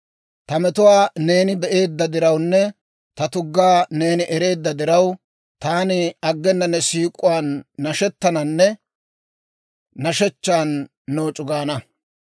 Ta metuwaa neeni be'eedda dirawunne ta tuggaa neeni ereedda diraw, Taani aggena ne siik'uwaan nashettananne nashshechchan nooc'u gaana.